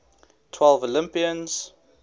twelve olympians